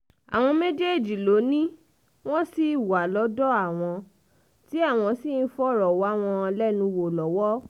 àwọn méjèèjì ló ní wọ́n ṣì wà lọ́dọ̀ àwọn tí àwọn sì ń fọ̀rọ̀ wá wọn lẹ́nu wò lọ́wọ́